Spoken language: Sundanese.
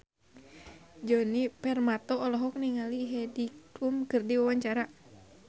Djoni Permato olohok ningali Heidi Klum keur diwawancara